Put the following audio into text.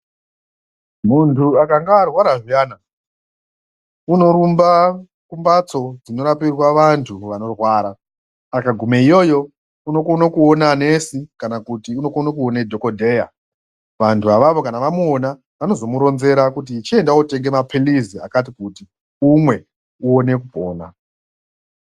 Muntu akanga arwara zviyana unorumba kumbatso dzinorapirwa vantu vanorwara akagume iyoyo unokone kuona nesi kana kuti unokone kuona dhokodheya vantu avavo kana vamuona vanozomuronzere kuti chitenda wotenga maphirizi akatikuti umwe uone kupona.